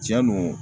Tiɲɛ don